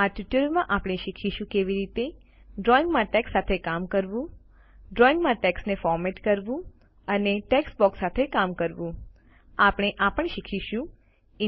આ ટ્યુટોરીયલમાં આપણે શીખીશું કે કેવી રીતે ડ્રોઇંગમાં ટેક્સ્ટ સાથે કામ કરવું ડ્રોઇંગમાં ટેક્સ્ટને ફોરમેટ કરવું અને ટેક્સ્ટબોક્સ સાથે કામ કરવું આપણે આ પણ શીખીશું